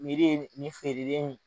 ye nin feerelen in